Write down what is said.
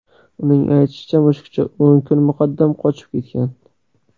Uning aytishicha, mushukcha o‘n kun muqaddam qochib ketgan.